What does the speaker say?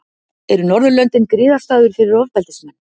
Eru Norðurlöndin griðastaður fyrir ofbeldismenn?